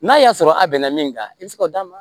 N'a y'a sɔrɔ a bɛnna min kan i bɛ se k'o d'a ma